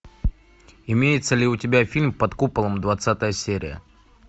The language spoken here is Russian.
имеется ли у тебя фильм под куполом двадцатая серия